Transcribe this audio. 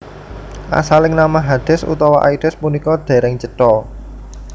Asaling nama Hades utawi Aides punika dereng cetha